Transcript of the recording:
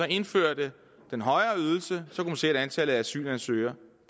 indførte den højere ydelse at antallet af asylansøgere